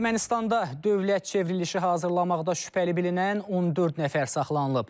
Ermənistanda dövlət çevrilişi hazırlamaqda şübhəli bilinən 14 nəfər saxlanılıb.